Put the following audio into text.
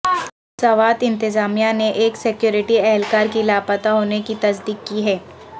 سوات انتظامیہ نے ایک سکیورٹی اہلکار کی لاپتہ ہونے کی تصدیق کی ہے